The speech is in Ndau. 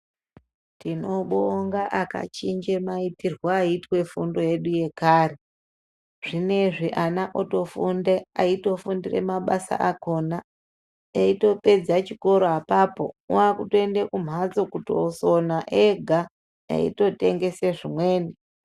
Tinobonga akachinje maitirwe aiitwe fundo yedu yekare. Zvinezvi ana otofunde aitofundire mabasa akhona. Eitopedza chikoro apapo, waakutoende kumhatso kutosona ega, eitotengese zvimweni.